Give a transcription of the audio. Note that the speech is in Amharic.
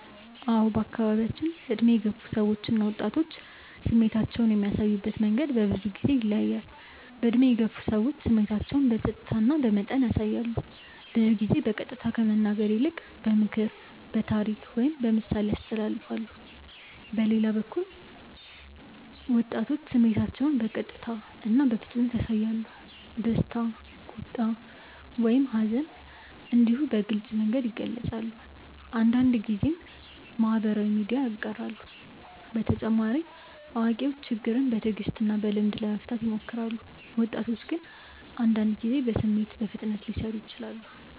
አዎ በአካባቢያችን ዕድሜ የገፉ ሰዎች እና ወጣቶች ስሜታቸውን የሚያሳዩበት መንገድ በብዙ ጊዜ ይለያያል። ዕድሜ የገፉ ሰዎች ስሜታቸውን በጸጥታ እና በመጠን ያሳያሉ። ብዙ ጊዜ በቀጥታ ከመናገር ይልቅ በምክር፣ በታሪክ ወይም በምሳሌ ያስተላልፋሉ። በሌላ በኩል ወጣቶች ስሜታቸውን በቀጥታ እና በፍጥነት ያሳያሉ። ደስታ፣ ቁጣ ወይም ሐዘን እንዲሁ በግልጽ መንገድ ይገልጻሉ፤ አንዳንድ ጊዜም በማህበራዊ ሚዲያ ያጋራሉ። በተጨማሪ አዋቂዎች ችግርን በትዕግስት እና በልምድ ለመፍታት ይሞክራሉ፣ ወጣቶች ግን አንዳንድ ጊዜ በስሜት በፍጥነት ሊሰሩ ይችላሉ።